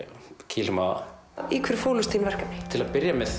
kýlum á það í hverju fólust þín verkefni til að byrja með